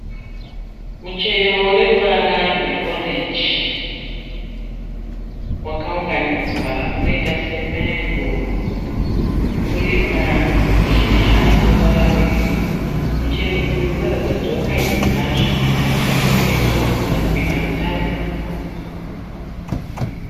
Muchero uneruvara rwe orenji wakaunganidzwa unoita semengo. Uripashizha rine ruvara rwe girinhi. Muchero uyu unoratidza kuti wakaibva zvakanaka uye unoratidza kuita hutano.